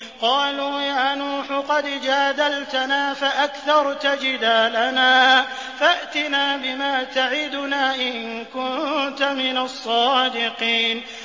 قَالُوا يَا نُوحُ قَدْ جَادَلْتَنَا فَأَكْثَرْتَ جِدَالَنَا فَأْتِنَا بِمَا تَعِدُنَا إِن كُنتَ مِنَ الصَّادِقِينَ